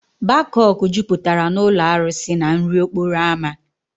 Bakok jupụtara na ụlọ arụsị na nri okporo ámá.